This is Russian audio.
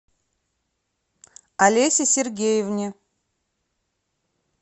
олесе сергеевне